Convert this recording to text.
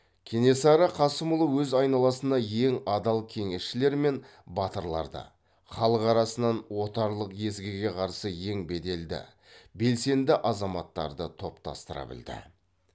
кенесары қасымұлы өз айналасына ең адал кеңесшілер мен батырларды халық арасынан отарлық езгіге қарсы ең беделді белсенді азаматтарды топтастыра білді